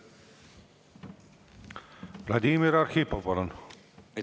Vladimir Arhipov, palun!